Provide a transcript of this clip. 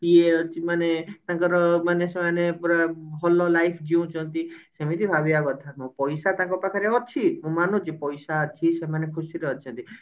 ଇଏ ଅଛି ମାନେ ତାଙ୍କର ମାନେ ସେମାନେ ପୁରା ଭଲ life ଜିଉଛନ୍ତି ସେମିତି ଭାବିବା କଥା ପଇସା ତାଙ୍କ ପାଖରେ ଅଛି ମୁଁ ମାନୁଛି ପଇସା ଅଛି ସେମାନେ ଖୁସି ରେ ଅଛନ୍ତି